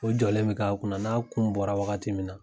O jɔlen bi k'a kunna n'a kun bɔra wagati min na